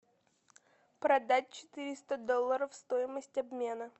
продать четыреста долларов стоимость обмена